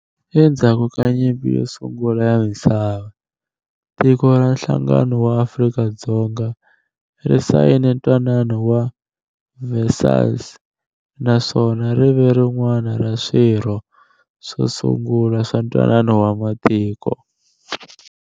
Endzhaku ka Nyimpi yo Sungula ya Misava, tiko ra Nhlangano wa Afrika-Dzonga ri sayine Ntwanano wa Versailles naswona rive rin'wana ra swirho swo sungula swa Ntwanano wa Matiko.